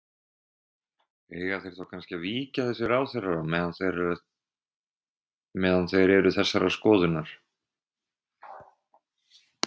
Heimir: Eiga þeir þá kannski að víkja þessir ráðherrar á meðan þeir eru þessarar skoðunar?